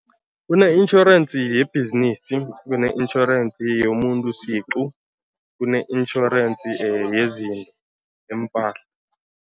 Kune-insurance yebhizinisi, kune-insurance yomuntu siqu, kune-insurance yezinto, yempahla.